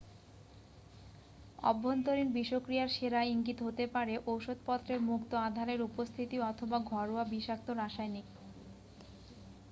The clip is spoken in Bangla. অভ্যন্তরীণ বিষক্রিয়ার সেরা ইঙ্গিত হতে পারে ওষুধপত্রের মুক্ত আধারের উপস্থিতি অথবা ঘরোয়া বিষাক্ত রাসায়নিক